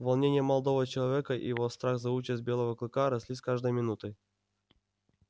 волнение молодого человека и его страх за участь белого клыка росли с каждой минутой